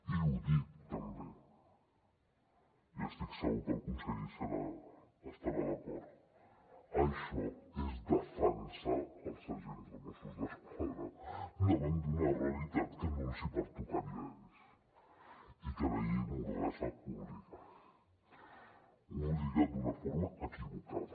i ho dic també i estic segur que el conseller hi deu estar d’acord això és defensar els agents dels mossos d’esquadra davant d’una realitat que no els hi pertocaria a ells i a què la llei mordassa obliga hi obliga d’una forma equivocada